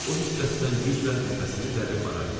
O hiddətdən güclə nəfəsini dərib ara verdi.